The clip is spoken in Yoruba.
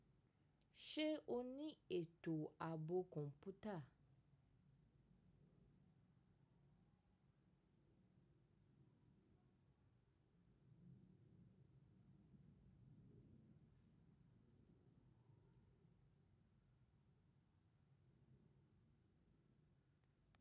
Ṣe o ni eto aabo kọnputa?